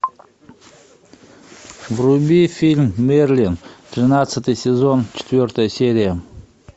вруби фильм мерлин тринадцатый сезон четвертая серия